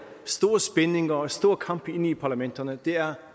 store spændinger og store kampe inde i parlamenterne det er